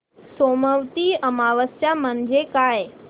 सोमवती अमावस्या म्हणजे काय